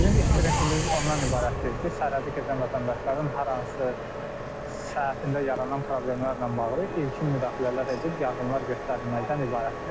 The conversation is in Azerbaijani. Bizim iş prinsipimiz ondan ibarətdir ki, sərhədi keçən vətəndaşların hər hansı saatında yaranan problemlərlə bağlı ilkin müdaxilələr edib yardımlar göstərilməkdən ibarətdir.